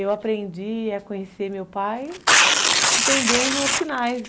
Eu aprendi a conhecer meu pai entendendo os sinais.